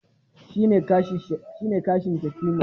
Shi ne Kashim Shettima